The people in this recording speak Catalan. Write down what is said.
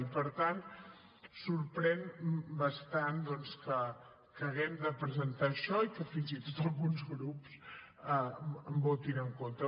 i per tant sorprèn bastant que haguem de presentar això i que fins i tot alguns grups hi votin en contra